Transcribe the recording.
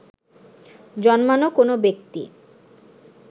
জন্মানো কোনো ব্যক্তি